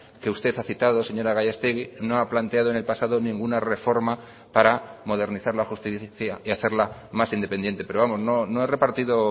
que usted ha citado señora gallastegui no ha planteado en el pasado ninguna reforma para modernizar la justicia y hacerla más independiente pero vamos no he repartido